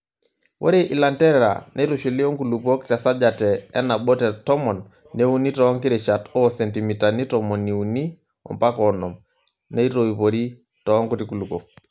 Ore ilanterera neitushuli onkulupuok tesajate enabo te tomon, neuni toonkirishat oo sentimitani tomoni uni ompaka onom, neitoiporo toonkuti kulukuok.